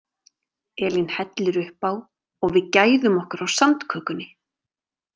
Elín hellir upp á og við gæðum okkur á sandkökunni.